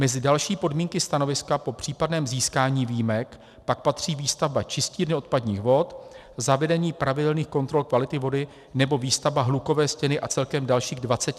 Mezi další podmínky stanoviska po případném získání výjimek pak patří výstavba čistírny odpadních vod, zavedení pravidelných kontrol kvality vody nebo výstavba hlukové stěny a celkem dalších 27 podmínek.